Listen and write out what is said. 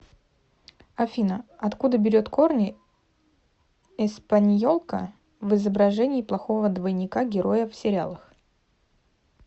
афина откуда берет корни эспаньолка в изображении плохого двойника героя в сериалах